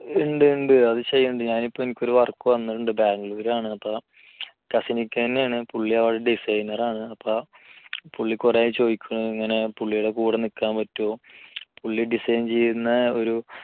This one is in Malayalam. ഉണ്ട് ഉണ്ട് അത് ചെയ്യുന്നുണ്ട് ഞാൻ ഇപ്പൊ എനിക്ക് ഒരു വർക്ക് വന്നിട്ടുണ്ടെന്ന് ബാംഗ്ലൂർ ആണ് അപ്പോ കസിനിക്കിന്റെ ആണ് പുള്ളി അവിടെ designer ആണ് അപ്പോ പുള്ളി കുറെ ചോദിക്കുന്ന ഇങ്ങനെ പുള്ളിയുടെ കൂടെ നിൽക്കാൻ പറ്റുമോ പുള്ളി design ചെയ്യുന്ന ഒരു